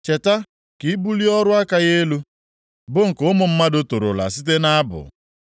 Cheta ka i bulie ọrụ aka ya elu, bụ nke ụmụ mmadụ torola site nʼabụ.